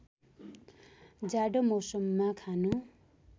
जाडो मौसममा खानु